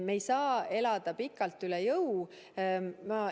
Me ei saa elada pikalt üle jõu.